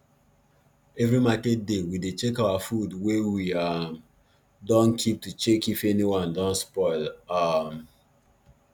every market day we dey check our food wey we um dun keep to check if anyone don spoil um